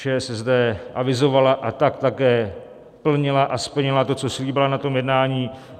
ČSSD avizovala a tak také plnila a splnila to, co slíbila na tom jednání.